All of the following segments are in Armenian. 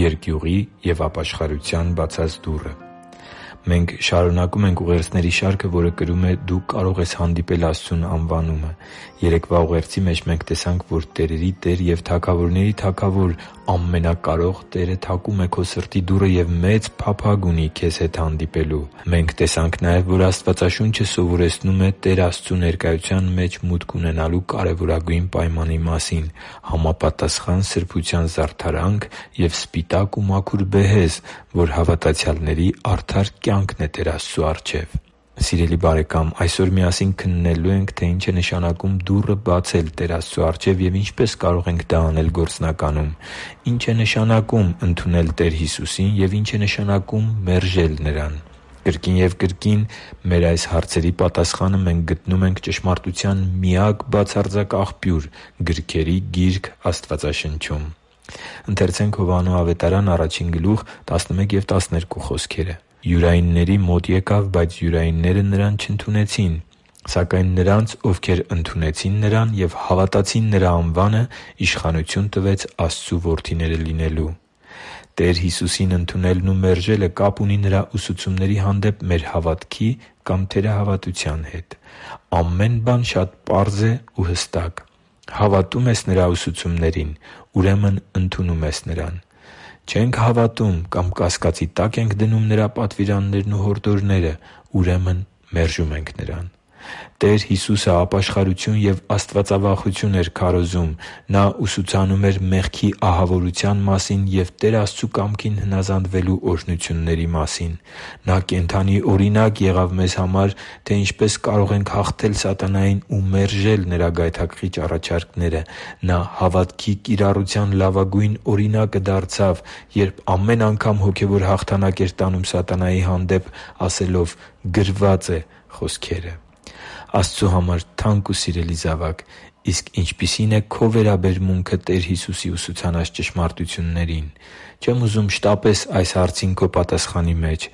Երկյուղի և ապաշխարության բացած դուռը Մենք շարունակում ենք ուղերձների շարքը, որը կրում է «Դու կարո՛ղ ես հանդիպել Աստծուն» անվանումը։ Երեկվա ուղերձի մեջ մենք տեսանք, որ տերերի Տեր և թագավորների Թագավոր ամենակարող Տերը թակում է քո սրտի դուռը և մեծ փափագ ունի քեզ հետ հանդիպելու։ Մենք տեսանք նաև, որ Աստվածաշունչը սովորեցնում է Տեր Աստծու ներկայության մեջ մուտք ունենալու կարևորագույն պայմանի մասին՝ համապատասխան սրբության զարդարանք և սպիտակ ու մաքուր բեհեզ, որ հավատացյալների արդար կյանքն է Տեր Աստծու առջև։ Սիրելի՛ բարեկամ, այսօր միասին քննելու ենք, թե ի՞նչ է նշանակում դուռը բացել Տեր Աստծու առջև և ինչպե՞ս կարող ենք դա անել գործնականում։ Ի՞նչ է նշանակում ընդունել Տեր Հիսուսին և ի՞նչ է նշանակում մերժել Նրան։ Կրկին և կրկին մեր այս հարցերի պատասխանը մենք գտնում ենք ճշմարտության միակ բացարձակ աղբյուր, գրքերի Գիրք Աստվածաշնչում։ «Յուրայինների մոտ եկավ, բայց յուրայինները Նրան չընդունեցին։ Սակայն նրանց, ովքեր ընդունեցին Նրան և հավատացին Նրա անվանը, իշխանություն տվեց Աստծու որդիները լինելու» (Հովհաննես 1․11-12): Տեր Հիսուսին ընդունելն ու մերժելը կապ ունի Նրա ուսուցումների հանդեպ հավատքի կամ թերահավատության հետ։ Ամեն բան շատ պարզ է ու հասարակ։ Հավատո՞ւմ ենք Նրա ուսուցումներին, ուրեմն ընդունում ենք Նրան։ Չե՞նք հավատում կամ կասկածի տա՞կ ենք դնում Նրա պատվիրաններն ու հորդորները, ուրեմն մերժում ենք Նրան։ Տեր Հիսուսը ապաշխարություն և աստվածավախություն էր քարոզում։ Նա ուսուցանում էր մեղքի ահավորության մասին և Տեր Աստծու կամքին հնազանդվելու օրհնությունների մասին։ Նա կենդանի օրինակ եղավ մեզ համար, թե ինչպես կարող ենք հաղթել սատանային ու մերժել նրա գայթակղիչ առաջարկները։ Նա հավատքի կիրառության լավագույն օրինակը դարձավ, երբ ամեն անգամ հոգևոր հաղթանակ էր տանում սատանայի հանդեպ՝ ասելով «Գրվա՛ծ է» խոսքերը։ Աստծու համար թանկ ու սիրելի՛ զավակ, իսկ ինչպիսի՞ն է քո վերաբերմունքը Տեր Հիսուսի ուսուցանած ճշմարտություններին։ Չեմ ուզում շտապես այս հարցին քո պատասխանի մեջ։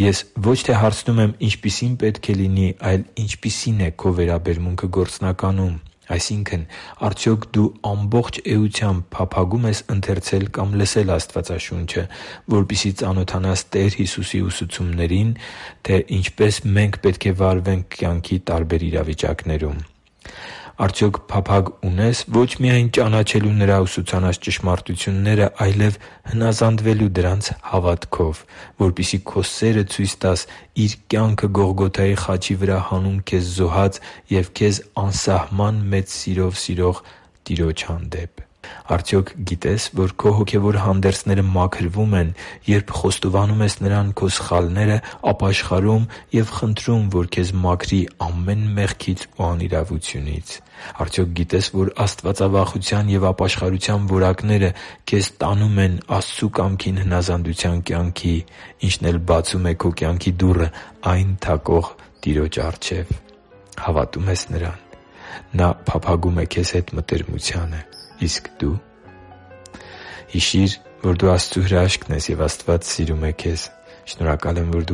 Ես ոչ թե հարցնում եմ՝ ինչպիսի՞ն պետք է լինի, այլ ինչպիսի՞ն է քո վերաբերմունքը գործնականում։ Այսինքն՝ արդյոք դու ամբողջ էությամբ փափագո՞ւմ ես ընթերցել կամ լսել Աստվածաշունչը, որպեսզի ծանոթանաս Տեր Հիսուսի ուսուցումներին, թե ինչպե՛ս մենք պետք է վարվենք կյանքի տարբեր իրավիճակներում։ Արդյոք փափագ ունե՞ս ոչ միայն ճանաչելու Նրա ուսուցանած ճշմարտությունները, այլև հնազանդվելու դրանց հավատքով, որպեսզի քո սերը ցույց տաս Իր կյանքը Գողգոթայի խաչի վրա հանուն քեզ զոհած և քեզ անսահման մեծ սիրով սիրող Տիրոջ հանդեպ։ Արդյոք գիտե՞ս, որ քո հոգևոր հանդերձները մաքրվում են, երբ խոստովանում ես Նրան քո սխալները, ապաշխարում և խնդրում, որ քեզ մաքրի ամեն մեղքից ու անիրավությունից։ Արդյոք գիտե՞ս, որ աստվածավախության և ապաշխարության որակները քեզ տանում են Աստծու կամքին հնազանդության կյանքի, ինչն էլ բացում է քո կյանքի դուռը այն թակող Տիրոջ առջև։ Հավատո՞ւմ ես Նրան։ Նա փափագում է քեզ հետ մտերմությանը։ Իսկ դո՞ւ․․․ Հիշի՛ր, որ դու Աստծո հրաշքն ես, և Աստված սիրում է քեզ։ Շնորհակալ եմ, որ դու